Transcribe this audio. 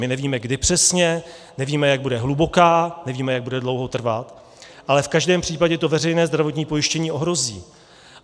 My nevíme, kdy přesně, nevíme, jak bude hluboká, nevíme, jak bude dlouho trvat, ale v každém případě to veřejné zdravotní pojištění ohrozí.